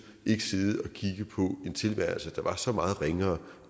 ikke sidde og kigge på en tilværelse der var så meget ringere